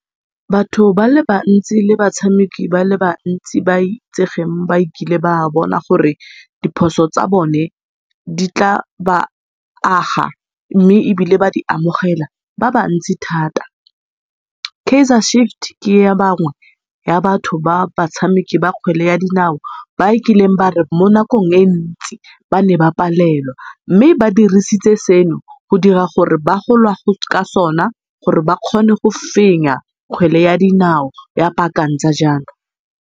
Batho ba le bantsi le batshameki ba le bantsi ba itsegeng ba ekileng ba bona gore diphoso tsa bone di tla ba aga mme ebile ba di amogela ba bantsi thata. Kaizer ke ya bangwe ya batho ba batshameki ba kgwele ya dinao, ba ekileng ya re mo nakong e ntsi ba ne ba palelwa, mme ba dirisitse seno go dira gore ba ka sona gore ba kgone go fenya kgwele ya dinao ya .